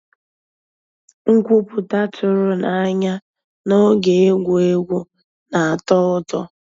Nkwúpụ́tá tụ̀rụ̀ n'ànyá n'ògé égwu égwu ná-àtọ́ ụtọ́.